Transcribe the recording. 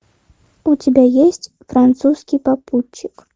у тебя есть французский попутчик